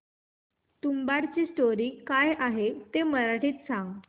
तुंबाडची स्टोरी काय आहे ते मराठीत सांग